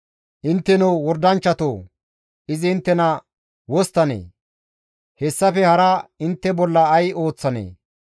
Intteno wordanchchatoo! Izi inttena wosttanee? hessafe hara intte bolla ay ooththanee?